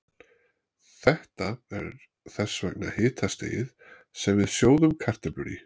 Þetta er þess vegna hitastigið sem við sjóðum kartöflur í.